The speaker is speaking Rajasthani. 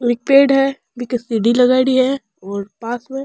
एक पेड़ है बीके सीढ़ी लगाइड़ी है और पास में --